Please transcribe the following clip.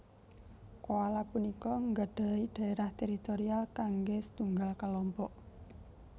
Koala punika nggadhahi dhaérah teritorial kanggé setunggal kalompok